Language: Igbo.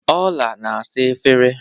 Ọla na-asa efere